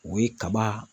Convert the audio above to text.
O ye kaba